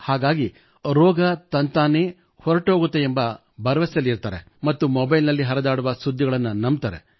ಹಾಗಾಗಿ ರೋಗ ತಂತಾನೇ ಹೊರಟುಹೋಗುತ್ತದೆ ಎಂಬ ಭರವಸೆಯಲ್ಲಿರುತ್ತಾರೆ ಮತ್ತು ಮೊಬೈಲ್ ನಲ್ಲಿ ಹರಿದಾಡುವ ಸುದ್ದಿಗಳನ್ನು ನಂಬುತ್ತಾರೆ